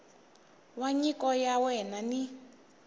wa nyiko ya wena ni